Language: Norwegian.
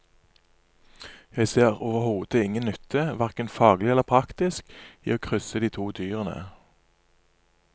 Jeg ser overhodet ingen nytte, hverken faglig eller praktisk, i å krysse de to dyrene.